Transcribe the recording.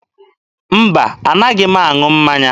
Mba, anaghị m aṅụ mmanya.